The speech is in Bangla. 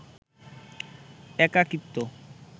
একাকীত্ব